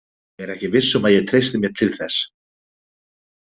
Ég er ekki viss um að ég treysti mér til þess.